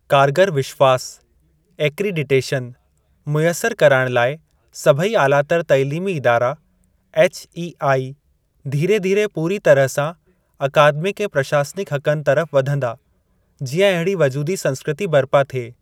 कारगर विश्वास (एक्रिडिटेशन) मुयसर कराइण लाइ सभेई आलातर तइलीमी इदारा (एचईआई) धीरे धीरे पूरी तरह सां अकादमिक ऐं प्रशासनिक हक़नि तरफ़ वधंदा, जीअं अहिड़ी वजूदी संस्कृती बर्पा थिए।